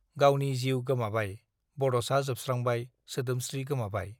गावनि जीउ गोमाबाय बडसा जोबस्त्रांबाय सोदोमस्त्री गोमाबाय